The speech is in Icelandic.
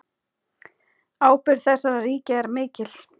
Ábyrgð þessara ríkja er mikil.